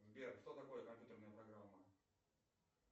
сбер что такое компьютерная программа